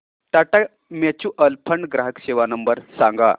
Tata mutual fund ग्राहक सेवा number सांगा